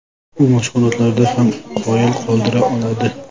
U mashg‘ulotlarda ham qoyil qoldira oladi.